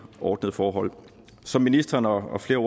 ordnede forhold som ministeren og flere